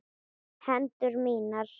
Hendur mínar.